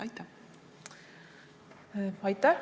Aitäh!